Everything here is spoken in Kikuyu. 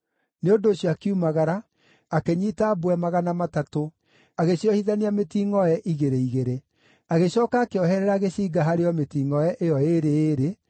Nĩ ũndũ ũcio akiumagara, akĩnyiita mbwe magana matatũ, agĩciohithania mĩtingʼoe igĩrĩ igĩrĩ. Agĩcooka akĩoherera gĩcinga harĩ o mĩtingʼoe ĩyo ĩĩrĩ ĩĩrĩ,